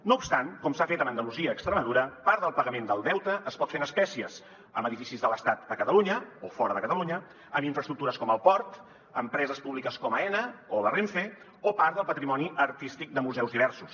no obstant com s’ha fet a andalusia o extremadura part del pagament del deute es pot fer en espècies amb edificis de l’estat a catalunya o fora de catalunya en infraestructures com el port empreses públiques com aena o la renfe o part del patrimoni artístic de museus diversos